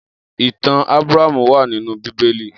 Itàn Abràhámú wà ninú Bibéli